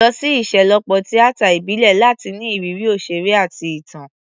Lọ sí ìṣelọ́pọ̀ tíátà ìbílẹ̀ láti ní ìrírí òṣèré àti ìtàn.